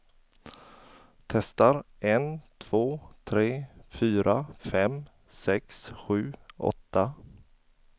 Testar en två tre fyra fem sex sju åtta.